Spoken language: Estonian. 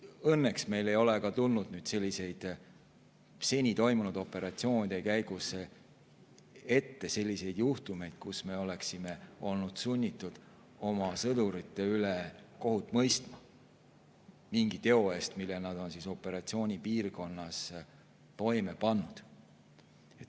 Õnneks ei ole meil seni toimunud operatsioonide käigus tulnud ette selliseid juhtumeid, et me oleksime olnud sunnitud oma sõdurite üle kohut mõistma mingi teo eest, mille nad oleksid operatsioonipiirkonnas toime pannud.